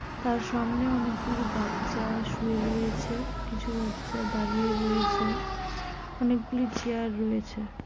আর সামনে অনেকগুলি বাচ্চা শুয়ে রয়েছে কিছু বাচ্চা দাঁড়িয়ে রয়েছে অনেকগুলি চেয়ার রয়েছে ।